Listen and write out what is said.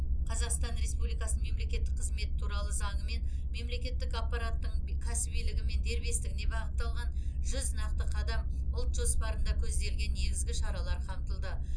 қазақстан республикасының мемлекеттік қызметі туралы заңымен мемлекеттік аппараттың кәсібилігі мен дербестігіне бағытталған жүз нақты қадам ұлт жоспарында көзделген негізгі шаралар қамтылды